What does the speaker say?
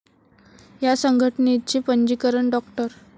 या संघटनेचे पंजीकरण डॉ.